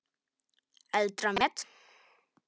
Eldra met